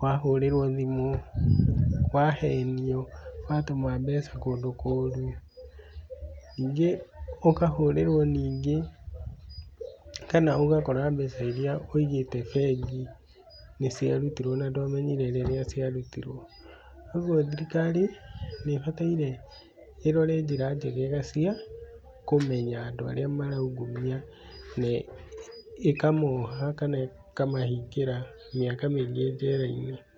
wahũrĩrwo thimũ, wahenio watũma mbeca kũndũ kũũru, ningĩ ũkahũrĩrwo ningĩ kana ũgakora mbeca iria ũigĩte bengi nĩ ciarutirwo na ndwamenyire rĩrĩa ciarutirwo. Ũguo thirikari nĩ ĩbataire ĩrore njĩra njegega cia kũmenya andũ arĩa maraungumania ne ĩkamoha kana ĩkamahingĩra mĩaka mĩingĩ njera-ini.